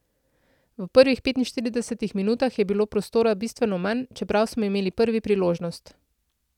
V prvih petinštiridesetih minutah je bilo prostora bistveno manj, čeprav smo imeli prvi priložnost.